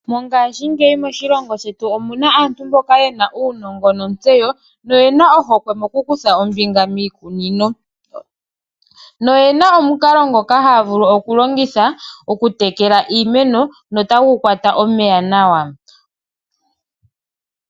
Mongaashingeyi moshilongo shetu omuna aantu mboka yena uunongo nontseyo noyena ohokwe mokukutha ombinga miikunino, noyena omukalo ngoka haya vulu okulongitha okutekela iimeno notagu kwata omeya nawa.